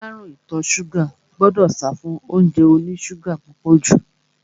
Aláàrúùn ìtọ ṣúgà gbọdọ̀ sáfún óúnjẹ oní ṣúgà púpọ̀ jù.